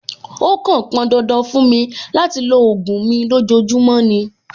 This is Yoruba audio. Ó kàn pọn dandan fún mi láti lo ògùn mi lójoojúmọ́ ni.